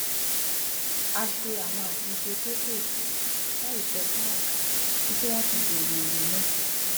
a ṣe àwọn àtúnṣe kéékèèké láì sọ fún ọga títí tí wón fi béèrè èrò wa